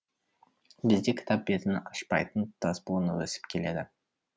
бізде кітап бетін ашпайтын тұтас буын өсіп келеді